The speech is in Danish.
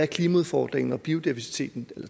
klimaudfordringen og biodiversiteten